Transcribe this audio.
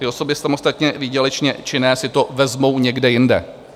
Ty osoby samostatně výdělečně činné si to vezmou někde jinde.